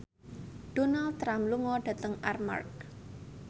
Donald Trump lunga dhateng Armargh